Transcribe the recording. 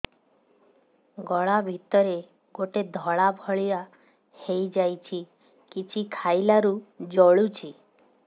ଗଳା ଭିତରେ ଗୋଟେ ଧଳା ଭଳିଆ ହେଇ ଯାଇଛି କିଛି ଖାଇଲାରୁ ଜଳୁଛି